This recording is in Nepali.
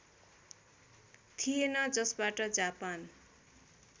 थिएन जसबाट जापान